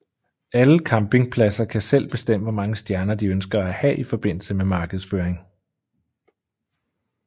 Alle campingpladser kan selv bestemme hvor mange stjerner de ønsker at have i forbindelse med markedsføring